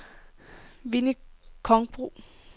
Winnie Kronborg